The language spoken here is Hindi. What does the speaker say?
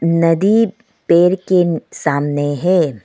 नदी पेर के सामने है।